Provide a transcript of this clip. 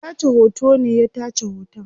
Mai tace hoto ne ya tace hoton